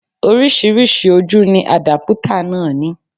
Oríṣiríṣi ojú ni àdápútà náà ní